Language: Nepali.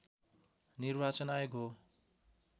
निर्वाचन आयोग हो